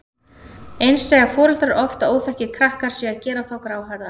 Eins segja foreldrar oft að óþekkir krakkar séu að gera þá gráhærða.